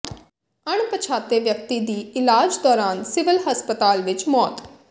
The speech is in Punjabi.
ਅਣਪਛਾਤੇ ਵਿਅਕਤੀ ਦੀ ਇਲਾਜ ਦੌਰਾਨ ਸਿਵਲ ਹਸਪਤਾਲ ਵਿਚ ਮੌਤ